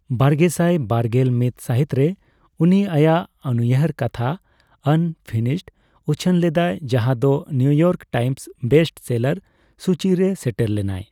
ᱵᱟᱨᱜᱮᱥᱟᱭ ᱵᱟᱨᱜᱮᱞ ᱢᱤᱛ ᱥᱟᱹᱦᱤᱛᱨᱮ, ᱩᱱᱤ ᱟᱭᱟᱜ ᱩᱱᱩᱭᱦᱟᱹᱨ ᱠᱟᱛᱷᱟ ᱟᱱᱯᱷᱤᱱᱤᱥᱰ ᱩᱪᱷᱟᱹᱱ ᱞᱮᱫᱟᱭ, ᱡᱟᱦᱟᱸᱫᱚ New York Times best seller ᱥᱩᱪᱤᱨᱮ ᱥᱮᱴᱮᱨ ᱞᱮᱱᱟᱭ ᱾